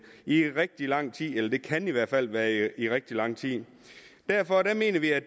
i rigtig lang tid eller det kan i hvert fald være i rigtig lang tid derfor mener vi at